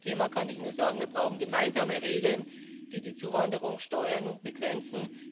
Beim Asylthema kann ich nur sagen Wir brauchen gemeinsame Regeln, die die Zuwanderung steuern und begrenzen.